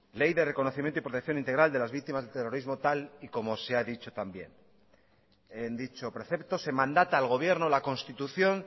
ley de reconocimiento y protección integral de las víctimas del terrorismo tal y como se ha dicho también en dicho precepto se mandaba al gobierno la constitución